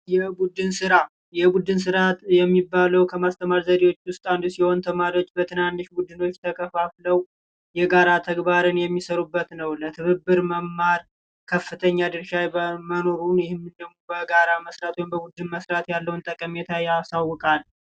የቡድን ስራ የቡድን ስራ የሚባለው ከማስተማር ያልመጣለች ትመጣለች ዘዴዎች አንዱ ሲሆን ተማሪዎች በትናንሽ ቡድኖች ተከፋፍለው የጋራ ተግባርን በቡድን የሚሰሩበት ነው። በትብብር መማር ከፍተኛ ድርሻ መኖሩን በጋራ መስራት ወይም በቡድን መስራት ያለውን ጠቀሜታ ያሳውቃል።